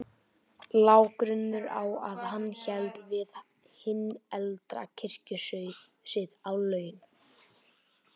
Lá grunur á að hann héldi við hinn eldri kirkjusið á laun.